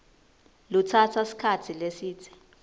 lutsatsa sikhatsi lesidze